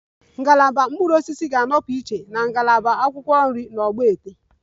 Ngalaba mkpụrụ osisi ga-anọpụ iche na ngalaba akwụkwọ nri na ogbete